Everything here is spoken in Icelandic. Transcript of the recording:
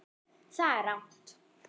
Það er rangt.